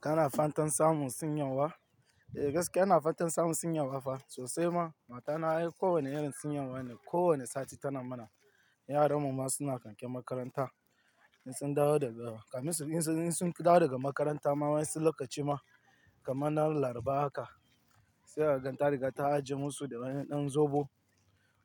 Kana fantan samun sin yawa? Eh gaskiya, ina fantan samun sin yawa fa sosai ma. Matana kowane irin sin yawa ne kowane sati tana mana. Yaran mu ma suna kakin makaranta, sun dawo daga, kaminsu in sun dawo daga makaranta, ma wai sun lokaci ma kaman ran larba haka, sai a ganta daga ta ajiye musu da wani ɗan zobo